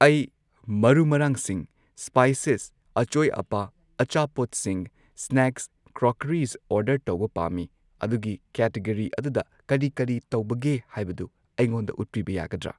ꯑꯩ ꯃꯔꯨ ꯃꯔꯥꯡꯁꯤꯡ ꯁ꯭ꯄꯥꯏꯁꯦꯁ ꯑꯆꯣꯏ ꯑꯄꯥ ꯑꯆꯥꯄꯣꯠꯁꯤꯡ ꯁ꯭ꯅꯦꯛꯁ ꯀ꯭ꯔꯣꯀꯔꯤꯁ ꯑꯣꯔꯗꯔ ꯇꯧꯕ ꯄꯥꯝꯃꯤ ꯑꯗꯨꯒꯤ ꯀꯦꯇꯤꯒꯣꯔꯤ ꯑꯗꯨꯗ ꯀꯔꯤ ꯀꯔꯤ ꯇꯧꯕꯒꯦ ꯍꯥꯏꯕꯗꯨ ꯑꯩꯉꯣꯟꯗ ꯎꯠꯄꯤꯕ ꯌꯥꯒꯗ꯭ꯔꯥ?